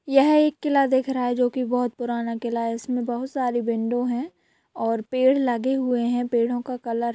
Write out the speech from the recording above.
यह एक किला दिख रहा है जो की बहुत पुराना किला है| इसमें बहुत सारे विंडो है और पेड़ लगे हुए हैं| पेड़ो का कलर --